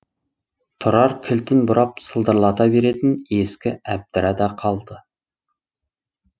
тұрар кілтін бұрап сылдырлата беретін ескі әбдіра да қалды